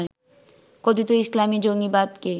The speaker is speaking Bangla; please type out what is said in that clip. কথিত ইসলামী জঙ্গিবাদকে